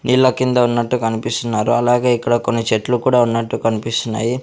నీళ్ల కింద ఉన్నట్టు కనిపిస్తున్నారు అలాగే ఇక్కడ కొన్ని చెట్లు కూడా ఉన్నట్టు కన్పిస్తున్నాయి.